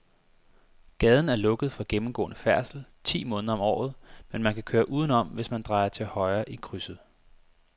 Gaden er lukket for gennemgående færdsel ti måneder om året, men man kan køre udenom, hvis man drejer til højre i krydset.